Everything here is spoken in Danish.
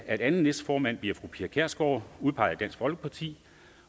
at anden næstformand bliver fru pia kjærsgaard udpeget af folkeparti